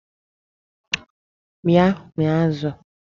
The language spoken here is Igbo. Bịa mịa azụ!